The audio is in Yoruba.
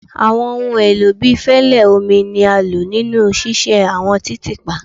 Awọn ohun elo bii fẹlẹ, omi ni a lo ninu ṣiṣe awọn titiipa